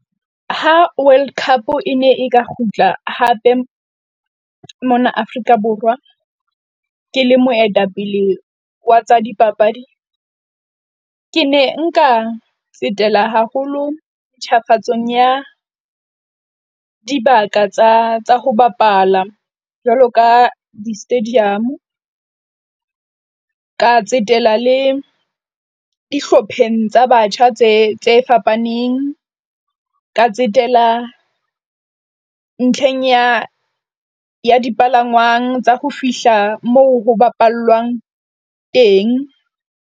Ha World Cup e ne e ka kgutla hape mona Afrika Borwa. Ke le moetapele wa tsa dipapadi. Ke ne nka tsetela haholo ntjhafatsong ya dibaka tsa ho bapala jwalo ka di-stadium-o ka tsetela le dihlopheng tsa batjha tse fapaneng ka tsetela, ntlheng ya ya dipalangwang tsa ho fihla moo ho bapallwang teng.